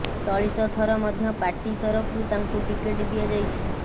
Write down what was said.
ଚଳିତ ଥର ମଧ୍ୟ ପାର୍ଟି ତରଫରୁ ତାଙ୍କୁ ଟିକେଟ୍ ଦିଆଯାଇଛି